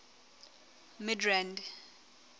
midrand